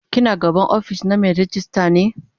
ki na gaban ofis na Mai ragista ne?